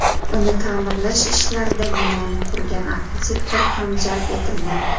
Uni ta’mirlash ishlarida binoni qurgan arxitektor ham jalb etilgan.